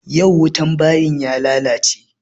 Yau wutan bayin ya lalace.